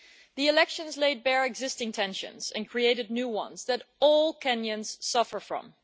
The elections laid bare existing tensions and created new ones that all Kenyans suffer from.